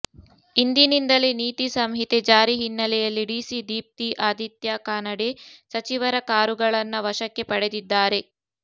ಇಂದಿನಿಂದಲೇ ನೀತಿ ಸಂಹಿತೆ ಜಾರಿ ಹಿನ್ನೆಲೆಯಲ್ಲಿ ಡಿಸಿ ದೀಪ್ತಿ ಆದಿತ್ಯಾ ಕಾನಡೆ ಸಚಿವರ ಕಾರುಗಳನ್ನ ವಶಕ್ಕೆ ಪಡೆದಿದ್ದಾರೆ